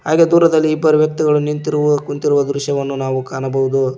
ಹಾಗೆ ದೂರದಲ್ಲಿ ಇಬ್ಬರು ವ್ಯಕ್ತಿಗಳು ನಿಂತಿರುವ ಕುಂತಿರುವ ದೃಶ್ಯವನ್ನು ನಾವು ಕಾಣಬಹುದು.